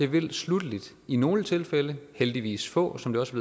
vil sluttelig i nogle tilfælde heldigvis få som det også